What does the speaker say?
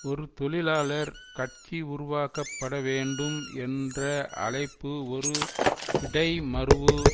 ஒரு தொழிலாளர் கட்சி உருவாக்க பட வேண்டும் என்ற அழைப்பு ஒரு இடைமருவு